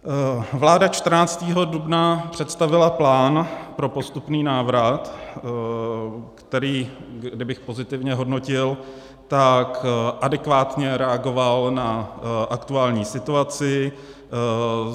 Vláda 14. dubna představila plán pro postupný návrat, který kdybych pozitivně hodnotil, tak adekvátně reagoval na aktuální situaci.